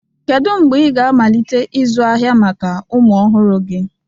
Kedu mgbe ị ga-amalite ịzụ ahịa maka ụmụ ọhụrụ gị?